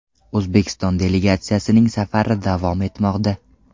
O‘zbekiston delegatsiyasining safari davom etmoqda.